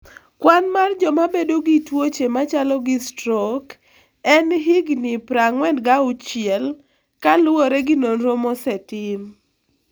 Kwan mar joma bedo gi tuoche machalo gi strok en higini 46 kaluwore gi nonro mosetim.